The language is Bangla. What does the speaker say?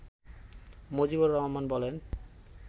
মজিবুর রহমান বলেন